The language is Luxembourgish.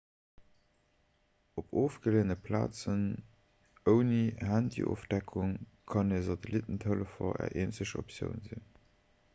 op ofgeleeëne plazen ouni handyofdeckung kann e satellittentelefon är eenzeg optioun sinn